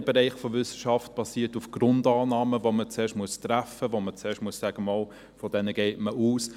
Jeder Bereich von Wissenschaft basiert auf Grundannahmen, die man zuerst treffen und wobei man zuerst sagen muss, von diese gehe man aus.